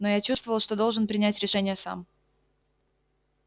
но я чувствовал что должен принять решение сам